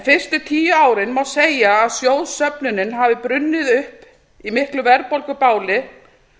fyrstu tíu árin má segja að sjóðsöfnunin hafi brunnið upp í miklu verðbólgubáli